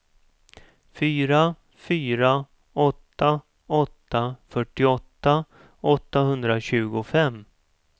fyra fyra åtta åtta fyrtioåtta åttahundratjugofem